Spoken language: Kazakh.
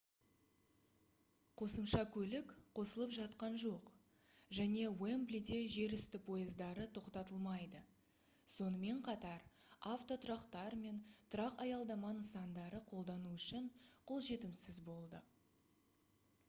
қосымша көлік қосылып жатқан жоқ және уэмблиде жерүсті пойыздары тоқтатылмайды сонымен қатар автотұрақтар мен тұрақ-аялдама нысандары қолдану үшін қолжетімсіз болады